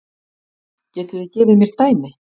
Getið þið gefið mér dæmi?